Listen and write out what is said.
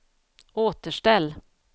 återställ